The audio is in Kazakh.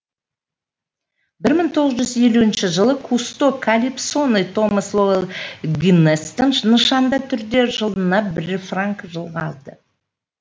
бір мың тоғыз жүз елуінші жылы кусто калипсоны томас лоэл гиннесстен нышанды түрде жылына бір франкқа жылға алды